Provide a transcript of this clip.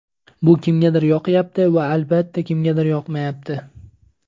Bu kimgadir yoqyapti va, albatta, kimgadir yoqmayapti.